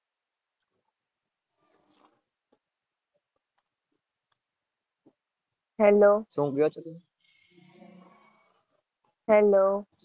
hello